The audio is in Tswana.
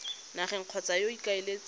nageng kgotsa yo o ikaeletseng